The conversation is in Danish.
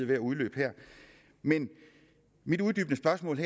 ved at udløbe mit uddybende spørgsmål